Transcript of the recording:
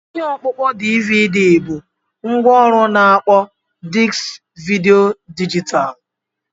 Ihe ọkpụkpọ DVD bụ ngwaọrụ na-akpọ diski vidiyo dijitalụ.